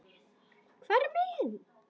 hvar eru miðin?